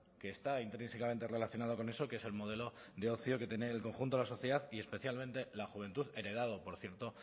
que está intrínsecamente relacionado con eso que es el modelo de ocio que tiene el conjunto de la sociedad y especialmente la juventud heredado por cierto